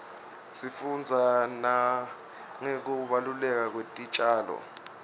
sifundza nangekubaluleka kwetitjalo